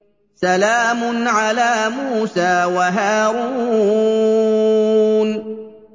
سَلَامٌ عَلَىٰ مُوسَىٰ وَهَارُونَ